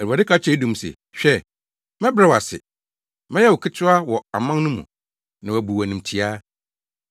Awurade ka kyerɛ Edom se: “Hwɛ, mɛbrɛ wo ase. Mɛyɛ wo ketewa wɔ aman no mu, na wɔabu wo animtiaa.